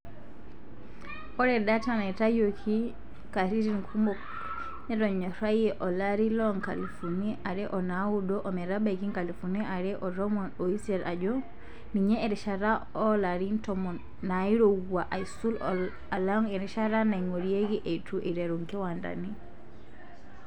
Ore data naitayioki katititn kumok netonyorayie olari loonkalifuni are onaudo ometabaiki nkalifuni are otomon oisiet ajo ninye erishata oolarin tomon nairowua aisul alang erishata naingorieki eitu eiteru nkiwandani.